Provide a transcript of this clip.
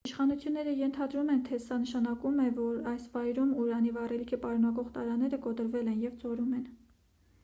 իշխանությունները ենթադրում են թե սա նշանակում է որ այս վայրում ուրանի վառելիք պարունակող տարաները կոտրվել են և ծորում են